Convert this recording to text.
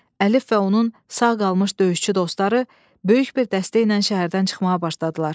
Əlif və onun sağ qalmış döyüşçü dostları böyük bir dəstə ilə şəhərdən çıxmağa başladılar.